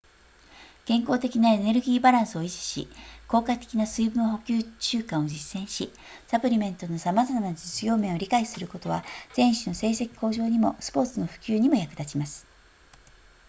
健康的なエネルギーバランスを維持し効果的な水分補給習慣を実践しサプリメントのさまざまな実用面を理解することは選手の成績向上にもスポーツの普及にも役立ちます